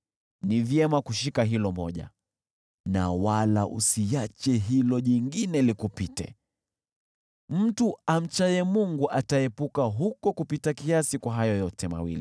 Ni vyema kushika hilo moja na wala usiache hilo jingine likupite. Mtu amchaye Mungu ataepuka huko kupita kiasi.